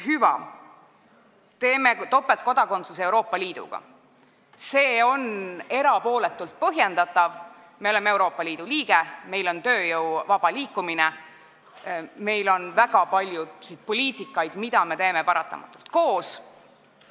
Hüva, see, et me lubame topeltkodakondsust Euroopa Liidus, on erapooletult põhjendatav: me oleme Euroopa Liidu liige, meil on tööjõu vaba liikumine, meil on väga palju poliitikaid, mida me paratamatult koos teeme.